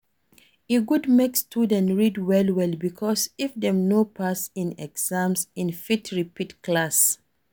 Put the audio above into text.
E good make student read well well because If dem no pass in exams in fit repeat class